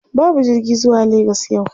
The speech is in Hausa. Babu jirgi zuwa Legas yau.